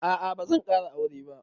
A'a bazan ƙara aure ba